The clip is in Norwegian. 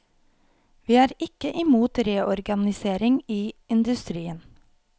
Vi er ikke imot reorganisering i industrien.